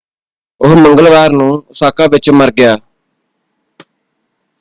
ਉਹ ਮੰਗਲਵਾਰ ਨੂੰ ਓਸਾਕਾ ਵਿੱਚ ਮਰ ਗਿਆ।